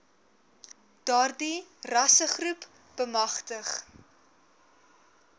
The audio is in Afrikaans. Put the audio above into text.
daardie rassegroepe bemagtig